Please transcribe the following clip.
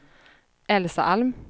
Elsa Alm